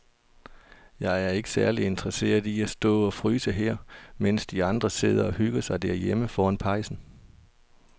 Jeg er ikke særlig interesseret i at stå og fryse her, mens de andre sidder og hygger sig derhjemme foran pejsen.